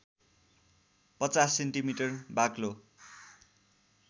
५० centimetre बाक्लो